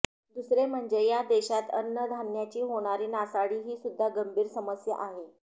दुसरे म्हणजे या देशात अन्नधान्याची होणारी नासाडी हीसुद्धा गंभीर समस्या आहे